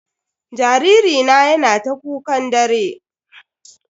Jariri na yana ta kukan dare.